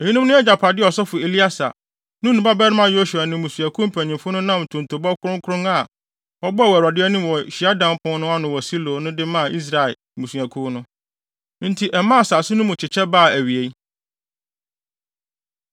Eyinom ne agyapade a ɔsɔfo Eleasar, Nun babarima Yosua ne mmusuakuw mpanyimfo no nam ntontobɔ kronkron a wɔbɔɔ wɔ Awurade anim wɔ hyiadan pon no ano wɔ Silo no de maa Israel mmusuakuw no. Enti ɛmaa asase no mu kyekyɛ baa awiei.